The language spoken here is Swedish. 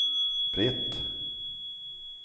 Britt